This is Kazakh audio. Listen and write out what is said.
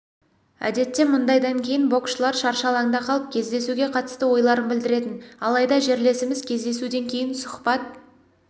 әдетте мұндайдан кейін боксшылар шаршы алаңда қалып кездесуге қатысты ойларын білдіретін алайда жерлесіміз кездесуден кейін сұхбат